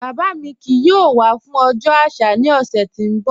Baba mi kíì yóò wà fún ọjọ́ aṣà ni ọ̀ṣẹ̀ tí n bọ̀.